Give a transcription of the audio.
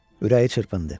Ürəyi çırpındı.